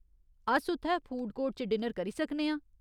अस उत्थै food court च डिनर करी सकने आं।